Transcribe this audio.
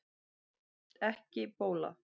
Ekki bóla